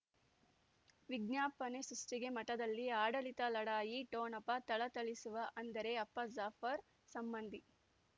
ವಿಜ್ಞಾಪನೆ ಸೃಷ್ಟಿಗೆ ಮಠದಲ್ಲಿ ಆಡಳಿತ ಲಢಾಯಿ ಠೊಣಪ ಥಳಥಳಿಸುವ ಅಂದರೆ ಅಪ್ಪ ಜಾಫರ್ ಸಂಬಂಧಿ